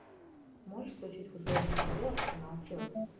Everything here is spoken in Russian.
можешь включить футбольную игру арсенал челси